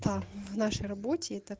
та в нашей работе это